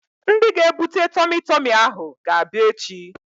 Ndị ga-ebute tọmi tọmi ahụ ga-abịa echi